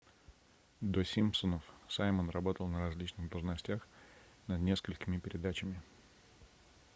до симпсонов саймон работал на различных должностях над несколькими передачами